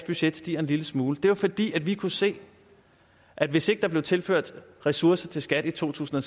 budget steg en lille smule det var fordi vi kunne se at hvis ikke der blev tilført ressourcer til skat i to tusind